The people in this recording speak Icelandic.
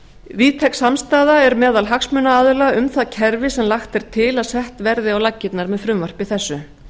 víðtæk samstaða er meðal hagsmunaaðila um það kerfi sem lagt er til að sett verði á laggirnar með frumvarpi þessu